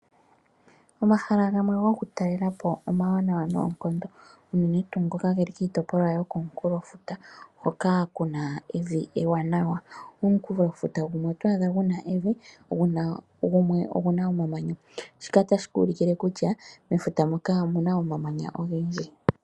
Omahala gamwe goku talelapo oma wanawa noonkondo unene tuu ngoka ge li kiitopolwa yo ko munkulofuta hoka kuna evi ewanawa. Omunkulofuta gumwe oto adha guna evi gumwe ogu na omamanya, shika ta shi ku ulukile kutya mefuta muka omuna omamanya ogendji.